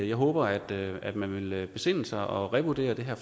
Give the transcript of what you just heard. jeg håber at at man vil besinde sig og revurdere det her